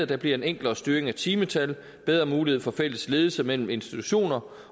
der bliver en enklere styring af timetal bedre mulighed for fælles ledelse mellem institutioner